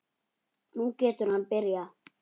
Nú getur hann byrjað.